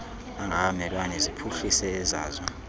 angabamelwane ziphuhlise ezazo